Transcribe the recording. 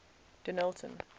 denillton